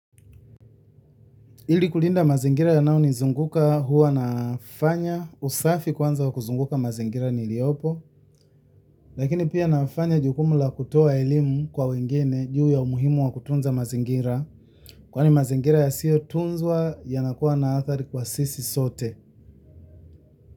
Ili kulinda mazingira yanao ni zunguka huwa nafanya usafi kwanza wa kuzunguka mazingira niliopo, lakini pia nafanya jukumu la kutoa elimu kwa wengine juu ya umuhimu wa kutunza mazingira, kwani mazingira ya siyo tunzwa yana kuwa na athari kwa sisi sote.